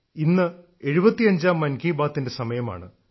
ഇന്ന് 75ാം മൻ കി ബാത്തിന്റെ സമയമാണ്